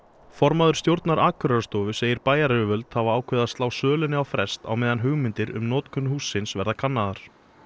formaður stjórnar segir bæjaryfirvöld hafa ákveðið að slá sölunni á frest á meðan hugmyndir um notkun hússins verði kannaðar